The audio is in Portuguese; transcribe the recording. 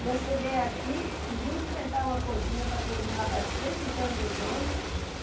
E eu cheguei aqui e vim enfrentar uma cozinha para cozinhar para cento e tantos homens.